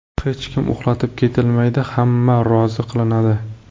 Hech kim ‘uxlatib’ ketilmaydi, hamma rozi qilinadi.